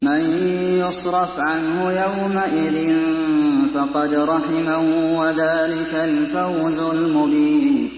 مَّن يُصْرَفْ عَنْهُ يَوْمَئِذٍ فَقَدْ رَحِمَهُ ۚ وَذَٰلِكَ الْفَوْزُ الْمُبِينُ